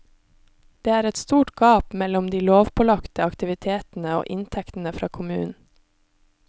Det er et stort gap mellom de lovpålagte aktivitetene og inntektene fra kommunen.